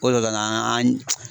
O de la an